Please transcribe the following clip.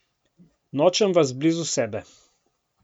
Nočem vas blizu sebe.